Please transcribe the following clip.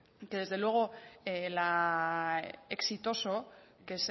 que desde luego la exitoso que